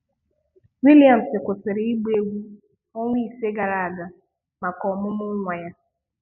Williams kwụsịrị ịgba egwú ọnwa isii gara aga maka ọmụmụ nwa ya.